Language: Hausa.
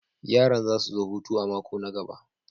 Yaran za su zo hutu a mako na gaba.